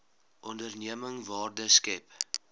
onderneming waarde skep